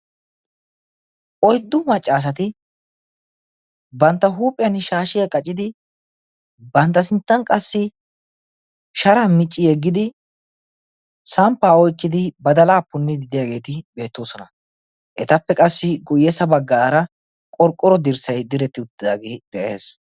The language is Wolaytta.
Oyddu maccaasati bantta huuphphiyaan shaashshiyaa qaccidi bantta sinttan qassi sharaa micci yeggidi samppaa oyqqidi badalaa punniidi de'iyaageti beettoosona. etappe guyessa bagggaara qorqqoro dirssay de'ees.